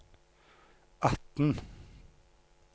atten